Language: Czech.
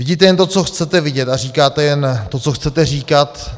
Vidíte jen to, co chcete vidět a říkáte jen to, co chcete říkat.